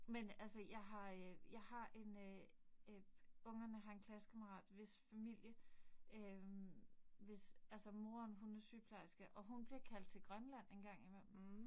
Men altså jeg har øh jeg har en øh øh ungerne har en klassekammerat, hvis familie øh, hvis altså moren hun er sygeplejerske. Og hun bliver kaldt til Grønland en gang imellem